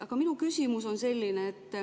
Aga minu küsimus on selline.